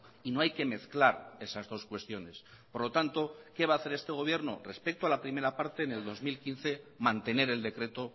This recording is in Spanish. y no hay que mezclar esas dos cuestiones por lo tanto qué va a hacer este gobierno respecto a la primera parte en el dos mil quince mantener el decreto